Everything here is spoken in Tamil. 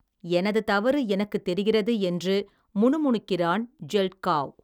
எனது தவறு, எனக்குத் தெரிகிறது என்று, முணுமுணுக்கிறான் ஜெல்ட்காவ்.